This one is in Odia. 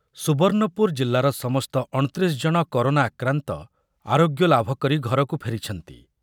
ସୁବର୍ଣ୍ଣପୁର ଜିଲ୍ଲାର ସମସ୍ତ ଅଣତିରିଶ ଜଣ କରୋନା ଆକ୍ରାନ୍ତ ଆରୋଗ୍ୟ ଲାଭ କରି ଘରକୁ ଫେରିଛନ୍ତି ।